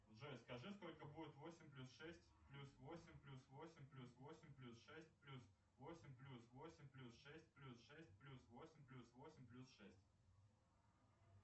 джой скажи сколько будет восемь плюс шесть плюс восемь плюс восемь плюс восемь плюс шесть плюс восемь плюс восемь плюс шесть плюс шесть плюс восемь плюс восемь плюс шесть